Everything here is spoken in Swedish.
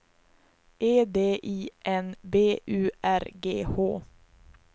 E D I N B U R G H